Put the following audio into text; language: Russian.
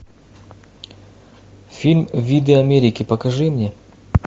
фильм виды америки покажи мне